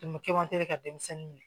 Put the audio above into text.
ka denmisɛnnin minɛ